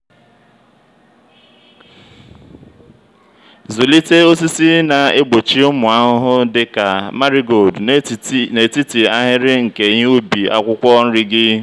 zụlite osisi na-egbochi ụmụ ahụhụ dị ka marigold n'etiti ahịrị nke ihe ubi akwụkwọ nri gị.